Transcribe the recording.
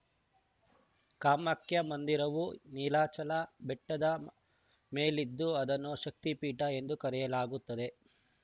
ಕಾಮಾಕ್ಯ ಮಂದಿರವು ನೀಲಾಚಲ ಬೆಟ್ಟದ ಮೇಲಿದ್ದು ಅದನ್ನು ಶಕ್ತಿಪೀಠ ಎಂದು ಕರೆಯಲಾಗುತ್ತದೆ